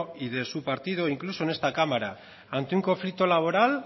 y de su partido incluso en esta cámara ante un conflicto laboral